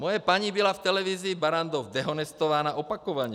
Moje paní byla v televizi Barrandov dehonestována opakovaně.